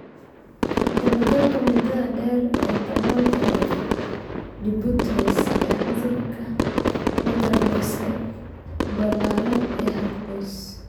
Dabagalka muddada dheer ee daboolka ee Dupuytren's iyo cudurka Ledderhose ballaaran ee hal qoys.